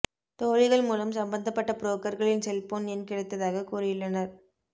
தோழிகள் மூலம் சம்மந்தப்பட்ட புரோக்கர்களின் செல்போன் எண் கிடைத்ததாகக் கூறியுள்ளனர்